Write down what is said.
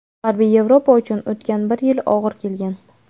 G‘arbiy Yevropa uchun o‘tgan bir yil og‘ir kelgan.